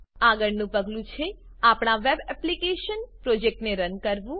આગળનું પગલું છે આપણા વેબ એપ્લીકેશન પ્રોજેક્ટને રન કરવું